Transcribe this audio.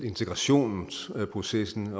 integrationsprocessen